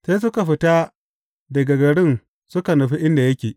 Sai suka fita daga garin suka nufa inda yake.